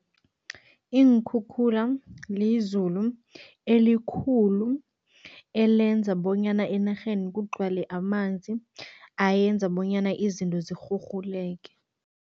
Iinkhukhula lizulu elikhulu, elenza bonyana enarheni kugcwale amanzi ayenza bonyana izinto zirhurhuleke.